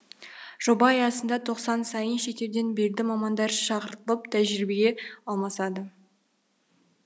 жоба аясында тоқсан сайын шетелден белді мамандар шақыртылып тәжірибе алмасады